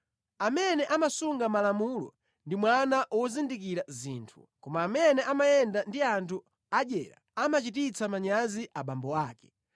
Amene amasunga malamulo ndi mwana wozindikira zinthu, koma amene amayenda ndi anthu adyera amachititsa manyazi abambo ake.